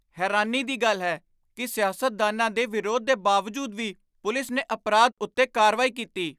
ਹੈਰਾਨੀ ਦੀ ਗੱਲ ਹੈ ਕਿ ਸਿਆਸਤਦਾਨਾਂ ਦੇ ਵਿਰੋਧ ਦੇ ਬਾਵਜੂਦ ਵੀ ਪੁਲਿਸ ਨੇ ਅਪਰਾਧ ਉੱਤੇ ਕਾਰਵਾਈ ਕੀਤੀ!